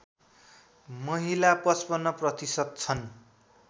महिला ५५ प्रतिशत छन्